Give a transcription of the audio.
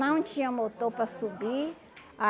Não tinha motor para subir. A